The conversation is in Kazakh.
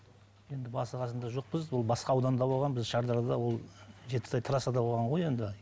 енді басы қасында жоқпыз ол басқа ауданда болған біз шардарада ол жетісай трассада болған ғой енді